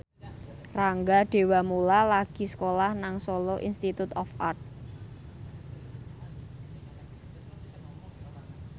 Rangga Dewamoela lagi sekolah nang Solo Institute of Art